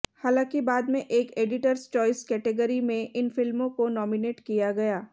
हालांकि बाद में एक एडिटर्स चॉइस कैटेगरी में इन फिल्मों को नॉमिनेट किया गया